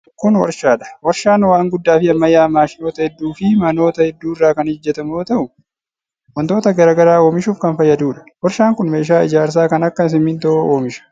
Kun warshaa dha. Warshaan waan guddaa fi ammayyawaa maashinoota hedduu fi manoota hedduu irraa kan hojjatamu yoo ta'u, wantoota garaa garaa oomishuuf kan fayyaduu dha. Warshaan kun meeshaa ijaarsaa kan akka simiintoo oomisha.